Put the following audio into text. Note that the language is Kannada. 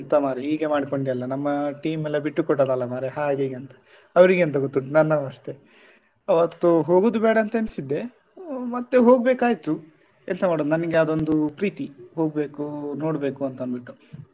ಎಂತ ಮಾರ್ರೆ ಹೀಗೆ ಮಾಡ್ಕೊಂಡೆ ಅಲ್ಲ ನಮ್ಮ team ಎಲ್ಲ ಬಿಟ್ಟುಕೊಟ್ಟದ್ದಲ್ಲ ಮಾರ್ರೆ ಹಾಗೆ ಹೀಗೆ ಅಂತ ಅವ್ರಿಗೆ ಎಂತ ಗೊತ್ತುಂಟು ನನ್ನ ಅವಸ್ಥೆ ಆವತ್ತು ಹೋಗುದು ಬೇಡ ಅಂತ ಏನ್ಸಿದ್ದೆ ಮತ್ತೆ ಹೋಗ್ಬೇಕಾಯ್ತು ಎಂತ ಮಾಡುದು ನನಿಗೆ ಅದೊಂದು ಪ್ರೀತಿ ಹೋಗ್ಬೇಕು ನೋಡ್ಬೇಕು ಅಂತಂದ್ಬಿಟ್ಟು.